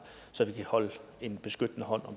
så vi kan holde en beskyttende hånd